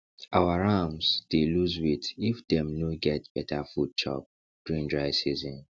our rams dey loose weight if dem no get better food chop during dry season